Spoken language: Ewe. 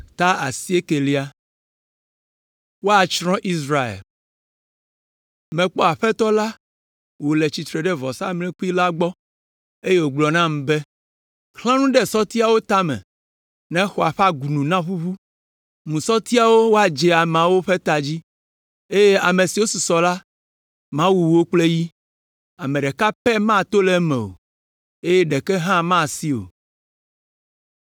Mekpɔ Aƒetɔ la wòle tsitre ɖe vɔsamlekpui la gbɔ, eye wògblɔ nam be, “Xlã nu ɖe sɔtiawo tame ne xɔa ƒe agunu naʋuʋu. Mu sɔtiawo woadze ameawo ƒe ta dzi, eye ame siwo susɔ la, mawu wo kple yi. Ame ɖeka pɛ mato le eme o, eye ɖeke hã masi o.